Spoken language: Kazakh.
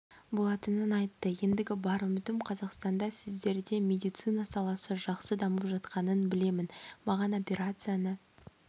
болатынын айтты ендігі бар үмітім қазақстанда сіздерде медицина саласы жақсы дамып жатқанын білемін маған операцияны